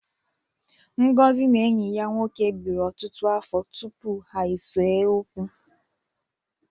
Ngozi na enyi ya nwoke biri ọtụtụ afọ tupu ha esee okwu.